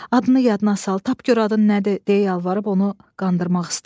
Adını yadına sal, tap gör adın nədir deyə yalvarıb onu qandırmaq istəyirdi.